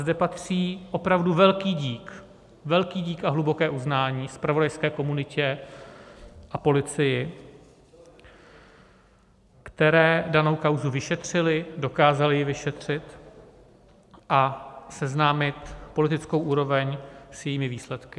Zde patří opravdu velký dík, velký dík a hluboké uznání zpravodajské komunitě a policii, které danou kauzu vyšetřili, dokázali ji vyšetřit a seznámit politickou úroveň s jejími výsledky.